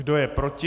Kdo je proti?